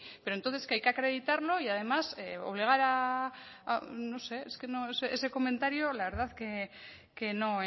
pero entonces que hay que acreditarlo y además obligar a no sé es que no ese comentario la verdad que no